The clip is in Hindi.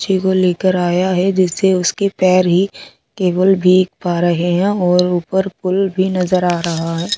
बच्चों को लेकर आया है जिससे उसके पैर ही केवल पैर ही भीग पा रहे हैं और ऊपर पूल भी नजर आ रहा है।